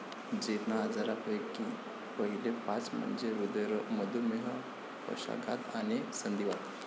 जीर्ण आजारांपैकी पहिले पाच म्हणजे हृदयरोग, मधुमेह, पक्षाघात, आणि संधिवात.